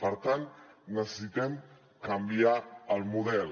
per tant necessitem canviar el model